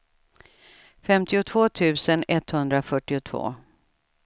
femtiotvå tusen etthundrafyrtiotvå